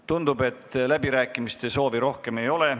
Tundub, et kõnesoove rohkem ei ole.